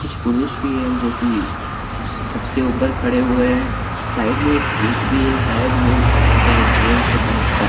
कुछ पुरुष भी है जो की सबसे ऊपर खड़े हुए हैं साइड में एक गेट भी है शायद ओ उसी का एंट्रेंस है बैंक का।